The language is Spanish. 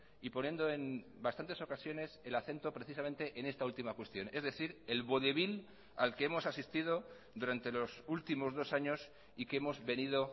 y poniendo en bastantes ocasiones el acento precisamente en esta última cuestión es decir el vodevil al que hemos asistido durante los últimos dos años y que hemos venido